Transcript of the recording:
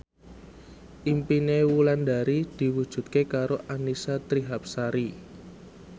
impine Wulandari diwujudke karo Annisa Trihapsari